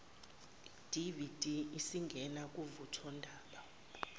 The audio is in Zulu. dvd isingena kuvuthondaba